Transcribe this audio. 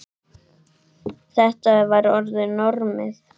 Þetta var orðið normið.